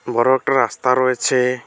বড় একটা রাস্তা রয়েছে।